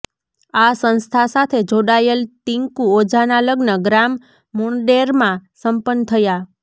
આ સંસ્થા સાથે જોડાયેલ તીકું ઓઝાના લગ્ન ગ્રામ મુણ્ડેર્મા સંપન્ન થયા